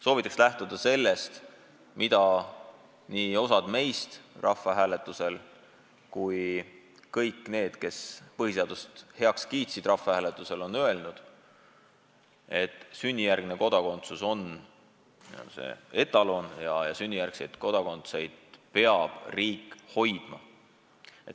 Soovitan lähtuda sellest, mille osa meist põhiseaduse rahvahääletusel heaks kiitis: me oleme öelnud, et sünnijärgne kodakondsus on see etalon ja sünnijärgseid kodanikke peab riik hoidma.